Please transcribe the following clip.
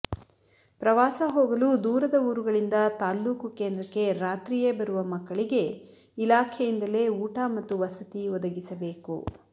ಪ್ರವಾಸ ಹೋಗಲು ದೂರದ ಊರುಗಳಿಂದ ತಾಲ್ಲೂಕು ಕೇಂದ್ರಕ್ಕೆ ರಾತ್ರಿಯೇ ಬರುವ ಮಕ್ಕಳಿಗೆ ಇಲಾಖೆಯಿಂದಲೇ ಊಟ ಮತ್ತು ವಸತಿ ಒದಗಿಸಬೇಕು